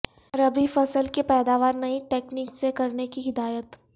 ربیع فصل کی پیداوار نئی تکنک سے کرنے کی ہدایت